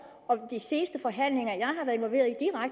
og ved de seneste forhandlinger